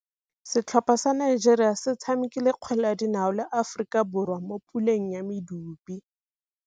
Setlhopha sa Nigeria se tshamekile kgwele ya dinaô le Aforika Borwa mo puleng ya medupe.